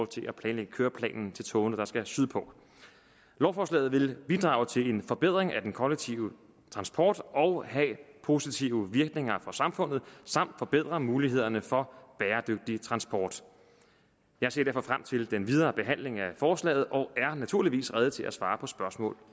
til at planlægge køreplanen til togene der skal sydpå lovforslaget vil bidrage til en forbedring af den kollektive transport og have positive virkninger for samfundet samt forbedre mulighederne for bæredygtig transport jeg ser derfor frem til den videre behandling af forslaget og er naturligvis rede til at svare på spørgsmål